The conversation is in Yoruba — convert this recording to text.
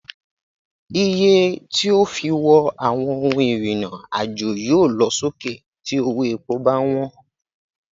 Iye tí a ó fi wọ àwọn ohun ìrìn àjò yóò lọ sókè tí owó epo bá wọn.